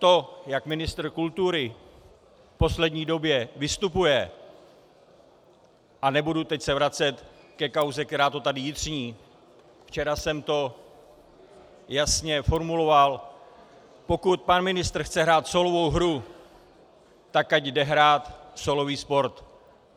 To, jak ministr kultury v poslední době vystupuje, a nebudu se teď vracet ke kauze, která to tady jitří, včera jsem to jasně formuloval, pokud pan ministr chce hrát sólovou hru, tak ať jde hrát sólový sport.